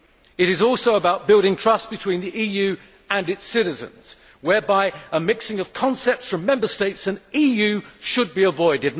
It is also about building trust between the EU and its citizens, whereby a mixing of concepts from Member States and EU should be avoided.